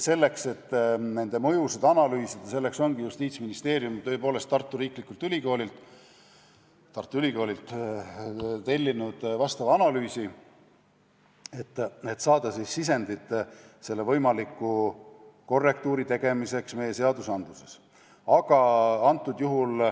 Selleks, et mõjusid analüüsida, ongi Justiitsministeerium Tartu Ülikoolilt tellinud analüüsi, et saada sisendit võimaliku korrektiivi tegemiseks meie seadustes.